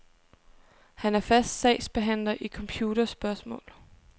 Han er fast sagsbehandler i computerspørgsmål.